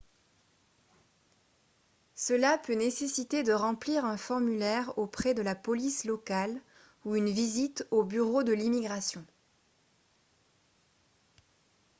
cela peut nécessiter de remplir un formulaire auprès de la police locale ou une visite aux bureaux de l'immigration